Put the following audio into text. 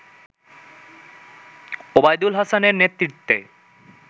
ওবায়দুল হাসানের নেতৃত্বে